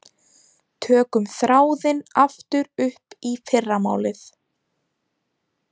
Tökum þráðinn aftur upp í fyrramálið.